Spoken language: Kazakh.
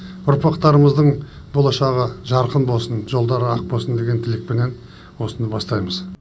ұрпақтарымыздың болашағы жарқын болсын жолдары ақ болсын деген тілекпенен осыны бастаймыз